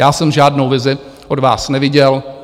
Já jsem žádnou vizi od vás neviděl.